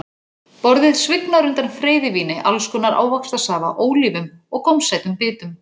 Borðið svignar undan freyðivíni, alls konar ávaxtasafa, ólífum og gómsætum bitum.